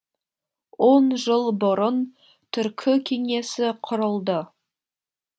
он жыл бұрын түркі кеңесі құрылды